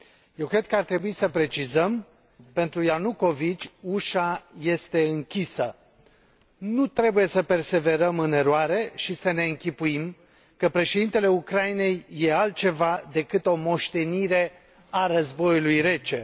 Eu cred că ar trebui să precizăm pentru Ianukovici ușa este închisă. Nu trebuie să perseverăm în eroare și să ne închipuim că președintele Ucrainei e altceva decât o moștenire a războiului rece.